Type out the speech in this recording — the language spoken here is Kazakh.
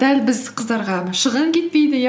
дәл біз қыздарға мына шығын кетпейді иә